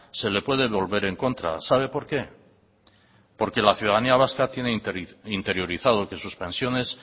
se le puede volver en contra sabe por qué porque la ciudadanía vasca tiene interiorizado que sus pensiones